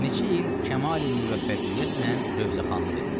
Neçə il kəmali-müvəffəqiyyətlə rövzəxanlıq eləyir.